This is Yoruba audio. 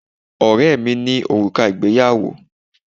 Ọ̀rẹ́ ẹ mí ní òrùka ìgbéyàwó